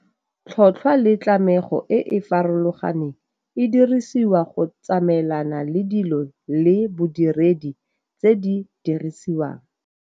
Tlhotlhwa le tlamego e e farolganeng e dirisiwa go tsamaelana le dilo le bodiredi tse di dirisiwang.